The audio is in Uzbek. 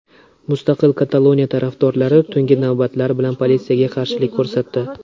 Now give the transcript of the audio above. Mustaqil Kataloniya tarafdorlari tungi navbatlar bilan politsiyaga qarshilik ko‘rsatdi.